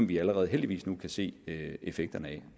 vi allerede heldigvis nu kan se effekterne af